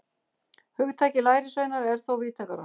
Hugtakið lærisveinar er þó víðtækara.